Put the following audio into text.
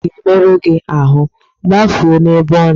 Nkịta a ga-emerụ gi ahụ, gbafuo n'ebe ọ nọ!